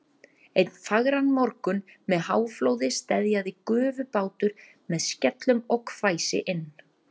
Einn fagran morgun með háflóði steðjaði gufubátur með skellum og hvæsi inn